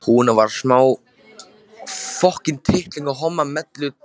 Hún var sármóðguð þegar þau renndu heim að Bakka.